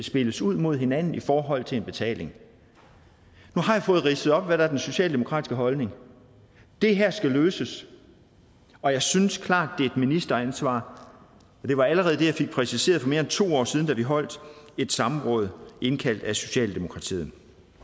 spilles ud imod hinanden i forhold til en betaling nu har jeg fået ridset op hvad der er den socialdemokratiske holdning det her skal løses og jeg synes klart at er et ministeransvar det var allerede det jeg fik præciseret for mere end to år siden da vi holdt et samråd indkaldt af socialdemokratiet